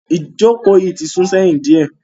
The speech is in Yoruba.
Ìjókòó yìí ti sún sí ẹ̀yìn diẹ.